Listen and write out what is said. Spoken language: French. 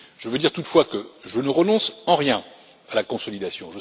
Je veux dire, toutefois, que je ne renonce en rien à la consolidation.